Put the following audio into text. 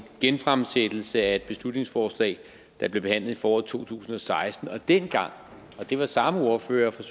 genfremsættelse af et beslutningsforslag der blev behandlet i foråret to tusind og seksten og dengang og det var samme ordfører fra